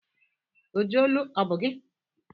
Oji olu ọ bụ gị?